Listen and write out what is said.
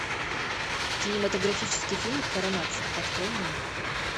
кинематографический фильм коронация открой мне